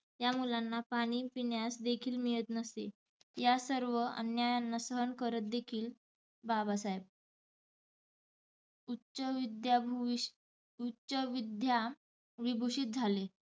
या मुलांना पाणी पिण्यास देखील मिळत नसे. या सर्व अन्यायांना सहन करत देखील बाबासाहेब उच्चविद्याभुषी उच्चविद्याविभुषीत झाले.